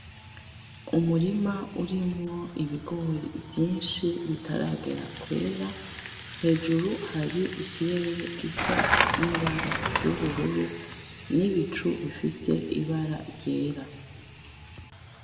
Umurima urimwo ibigori vyinshi bitaragera kwera, hejuru hari ikirere gisa n’ibara ry’ubururu n’ibicu bifise ibara ryera.